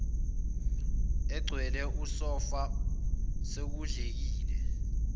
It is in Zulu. egcwele usofa sekudlekile